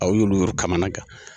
A y'olu kamana gan